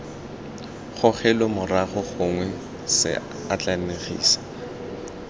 gogelwe morago gongwe c atlenegisa